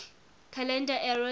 calendar eras